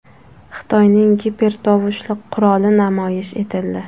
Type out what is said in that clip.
Xitoyning gipertovushli quroli namoyish etildi .